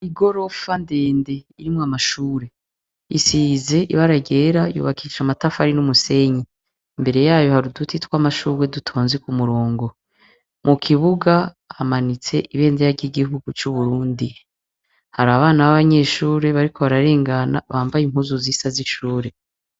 Igorofa ndende irimwo amashure, isize ibara ryera yubakishije amatafari n'umusenyi, imbere yayo hari uduti tw'amashurwe dutonze k'umurongo, mu kibuga hamanitse ibendera ry'igihugu c'u Burundi, hari abana b'abanyeshure bambaye impuzu zisa z'ishure.